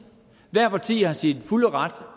hvert parti er i sin fulde ret